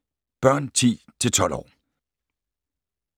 Børn 10-12 år